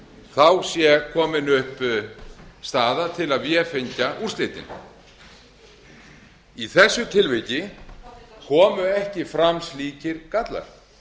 þá sé komin upp staða til að vefengja úrslitin í þessu tilviki komu ekki fram slíkir gallar